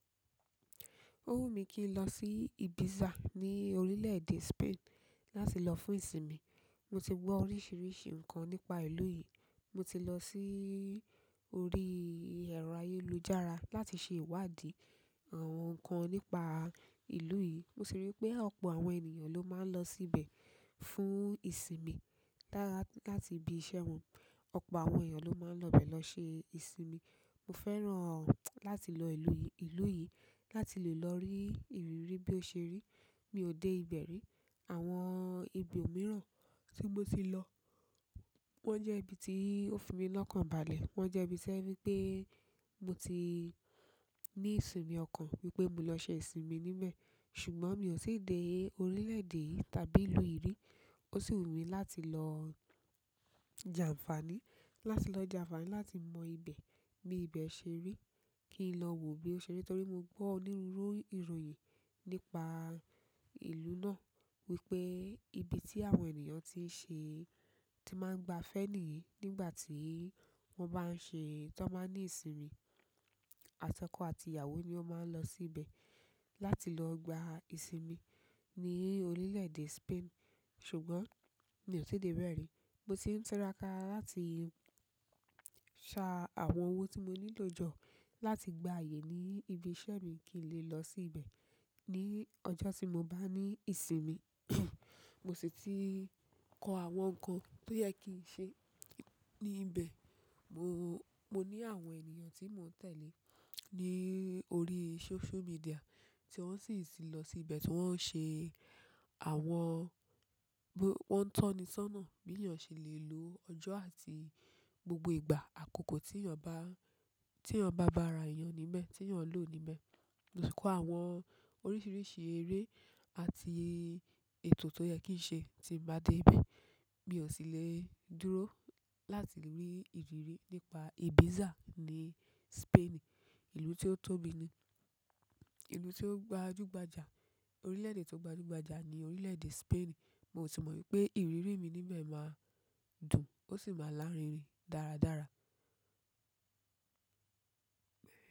Ó wù mí kí n lọ sí Ibiza ní orílẹ̀ èdè Spain láti lọ fún ìsinmi. Mo ti gbọ́ oríṣiríṣi nǹkan nípa ìlú yìí. Mo ti lọ sí orí ẹ̀rọ ayélujára láti ṣe ìwádìí àwọn ǹkan nípa ìlú yìí. Mo sì rí pé ọ̀pọ̀ àwọn ènìyàn ló máa ń lọ síbẹ̀ fún ìsinmi láti ibi iṣẹ́ wọn. Ọ̀pọ̀ àwọn ènìyàn ló máa ń lọ bẹ̀ lọ ṣe ìsinmi. Mo fẹ́ràn láti lọ ìlú yìí láti lè lọ rí ìrírí bí ó ṣe rí. Mi ò dé ibẹ̀ rí. Àwọn ibi òmíràn tí mo ti lọ wọ́n jẹ́ ibi tí ó fi mí lọ́kànbalẹ̀. Wọ́n jẹ́ ibi tójẹ́ wípé mo ti ní ìsinmi ọkàn wípé mo lọ ṣe ìsinmi níbẹ̀. Ṣùgbọ́n mi ò tí ì dé orílẹ̀ èdè yìí tàbí ìlú yìí rí. Ó sì wù mí láti lọ jàǹfàní, láti lọ jàǹfàní láti mọ ibẹ̀ bí ibẹ̀ ṣe rí, kí n lọ wò bí ó ṣe rí. Torí mo gbọ́ ọ ní ìròyìn nípa ìlú náà wípé ibi tí àwọn ènìyàn máa tí ń ṣe, máa ń gbafẹ́ nìyí nígbà tí wọ́n bá ń ṣe, tí wọ́n bá ń ní ìsinmi. Àtọkọ̀ àti ìyàwó ni ó máa ń lọ síbẹ̀ láti lọ gba ìsinmi ní orílẹ̀ èdè Spain. Ṣùgbọ́n mi ò tí ì dé bẹ̀ rí. Mo sì ń tira ka láti ṣa àwọn owó tí mo nílò jọ láti gba ààyè ní ibi iṣẹ́ mi kí n lè lọ síbẹ̀ ní ọjọ́ tí mo bá ní ìsinmi. Mo sì ti kọ àwọn nǹkan tó yẹ kí ń ṣe níbẹ̀. Mo, mo ní àwọn ènìyàn tí mò ń tẹ̀lé ní orí social media tí wọ́n sì ti lọ síbẹ̀ tí wọ́n ń ṣe àwọn, wọ́n ń tọ́ni sọ́nà bí ènìyàn ṣe lè lo ọjọ́ àti gbogbo ìgbà àkókò tí ènìyàn bá, tí ènìyàn bá bá ara ènìyàn níbẹ̀, tí ènìyàn lò níbẹ̀. Mo ti kọ àwọn oríṣiríṣi eré àti ètò tó yẹ kí ń ṣe tí m bá dé ibẹ̀. Mi ò sì lè dúró láti rí ìrírí nípa Ibiza ní Spain, ìlú tí ó tóbi ni, ìlú tí ó gbajúgbajà, orílẹ̀ èdè tí ó gbajúgbajà ni orílẹ̀ èdè Spain. Mo sì mọ̀ wípé ìrírí mi níbẹ̀ máa dùn, ó sì máa lárinrin dáradára.